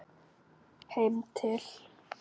Heim til